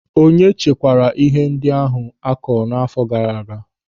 Onye chekwara ihe ndị akụrụ akụ n'áfọ gaara aga?